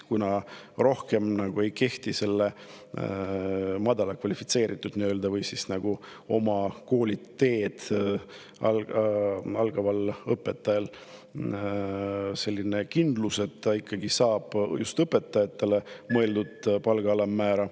Kuna nii-öelda madala kvalifikatsiooniga või teed alustaval õpetajal ei ole enam kindlust, et ta saab õpetajatele mõeldud palga alammäära …